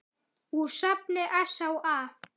Úr safni SÁA.